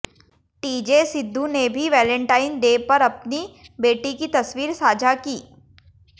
TJ Sidhu ने भी Valentine Day पर अपनी बेटी की तस्वीर साझा की